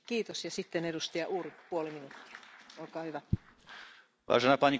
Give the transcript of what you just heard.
Vážená pani kolegyňa, ja som nepovedal ani slovo o nejakých lepších alebo horších ľuďoch, to v žiadnom prípade.